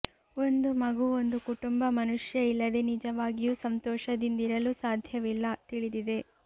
ಒಂದು ಮಗು ಒಂದು ಕುಟುಂಬ ಮನುಷ್ಯ ಇಲ್ಲದೆ ನಿಜವಾಗಿಯೂ ಸಂತೋಷದಿಂದಿರಲು ಸಾಧ್ಯವಿಲ್ಲ ತಿಳಿದಿದೆ